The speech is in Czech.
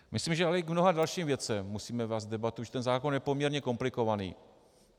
Myslím, že ale i k mnoha dalším věcem musíme vést debatu, protože ten zákon je poměrně komplikovaný.